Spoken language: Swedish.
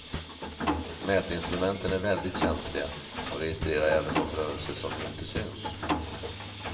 Mätinstrumenten är väldigt känsliga och registrerar även de rörelser som inte syns.